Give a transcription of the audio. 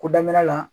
Ko daminɛ la